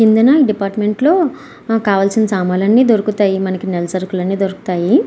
కింద డిపార్ట్మెంట్లో మనకు కావాల్సిన సామాన్లు దొరుకుతాయి. మనకి నెల సరుకులు అన్ని దొరుకుతాయి.